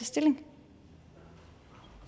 stilling